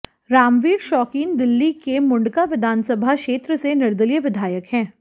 रामवीर शौकीन दिल्ली के मुंडका विधानसभा क्षेत्र से निर्दलीय विधायक हैं